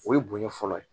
O ye bonya fɔlɔ ye